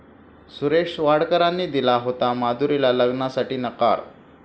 सुरेश वाडकरांनी दिला होता माधुरीला लग्नासाठी नकार